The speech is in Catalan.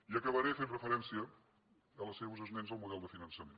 i acabaré fent referència als seus esments del model de finançament